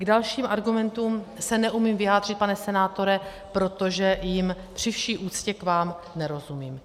K dalším argumentům se neumím vyjádřit, pane senátore, protože jim při vší úctě k vám nerozumím.